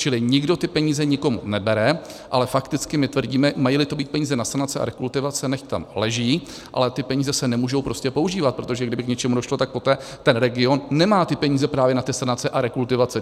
Čili nikdo ty peníze nikomu nebere, ale fakticky my tvrdíme, mají-li to být peníze na sanace a rekultivace, nechť tam leží, ale ty peníze se nemůžou prostě používat, protože kdyby k něčemu došlo, tak poté ten region nemá peníze právě na ty sanace a rekultivace.